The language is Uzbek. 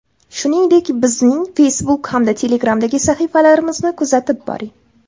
Shuningdek, bizning Facebook hamda Telegram’dagi sahifalarimizni kuzatib boring.